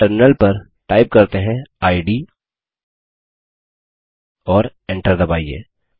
terminal पर type करते हैंid और Enter दबाइए